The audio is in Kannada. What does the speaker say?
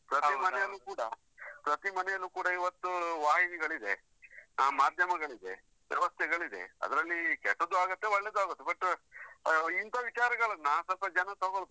ಪ್ರತಿ ಮನೆಯಲ್ಲೂ ಕೂಡ ಪ್ರತಿ ಮನೆಯಲ್ಲೂ ಕೂಡ ಇವತ್ತು ವಾಹಿನಿಗಳು ಇದೆ, ಆ ಮಾಧ್ಯಮಗಳು ಇದೆ, ವ್ಯವಸ್ಥೆಗಳು ಇದೆ, ಅದ್ರಲ್ಲಿ ಕೆಟ್ಟದ್ದು ಆಗತ್ತೆ ಒಳ್ಳೇದು ಆಗತ್ತೆ. But ಆ ಇಂತ ವಿಚಾರಗಳನ್ನ ಸ್ವಲ್ಪ ಜನ ತಗೊಳ್ಬೇಕು.